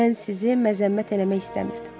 Mən sizi məzəmmət eləmək istəmirdim.